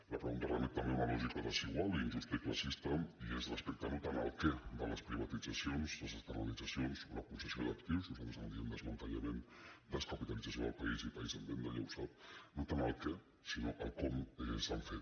la pregunta re·met també a una lògica desigual injusta i classista i és respecte no tant al què de les privatitzacions les des·penalitzacions o la concessió d’actius nosaltres en di·em desmantellament descapitalització del país i país en veda ja ho sap sinó al com s’han fet